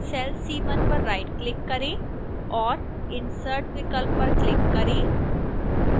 cell c1 पर rightclick करें और insert विकल्प पर click करें